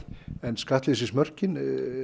en skattleysismörkin